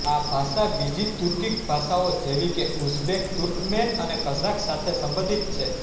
આ ભાષા બીજી તુર્કિક ભાષાઓ જેવી કે ઉઝબેક તુર્કમેન અને કઝાક સાથે સંબંધિત છે